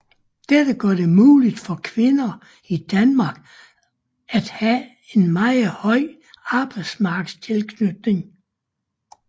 Dette gør det muligt for kvinder i Danmark at have en meget høj arbejdsmarkedstilknytning